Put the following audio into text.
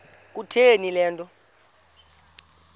kutheni le nto